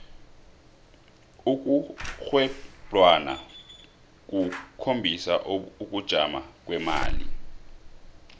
ukurhwebwlana kukhombisa ukujama kwemali